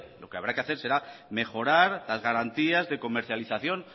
lo que habrá que hacer será mejorar las garantías de comercialización